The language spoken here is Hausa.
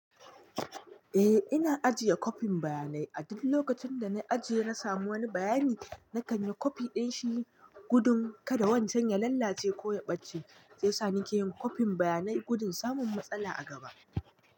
Eh, ina ajiye kopin bayanai. A duk lokacin da na ajiye na samu wani bayani, na karya kofi din shi gudun kada wancan ya lalace ko ya ɓace. Sai yasa nike yin kopin bayanai gudun samun matsala a gaba.